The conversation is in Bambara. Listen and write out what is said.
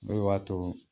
O de b'a to